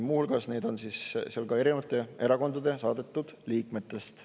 Muu hulgas on seal ka erinevate erakondade saadetud liikmeid.